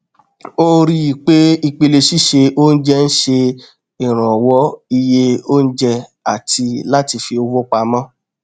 ó rí i pé ìpele síse oúnjẹ n ṣe ìrànwọ iye oùnjẹ àti láti fi owó pamọ